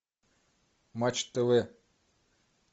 матч тв